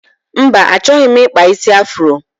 Mba, achọghị m ịkpa isi afuro.